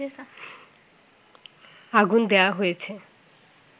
আগুন দেয়া হয়েছে